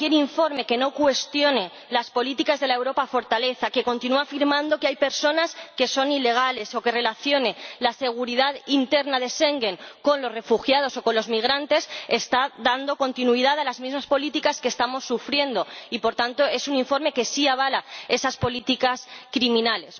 Cualquier informe que no cuestione las políticas de la Europa fortaleza, que continúe afirmando que hay personas que son ilegales o que relacione la seguridad interna de Schengen con los refugiados o con los migrantes está dando continuidad a las mismas políticas que estamos sufriendo, y, por tanto, es un informe que sí avala esas políticas criminales.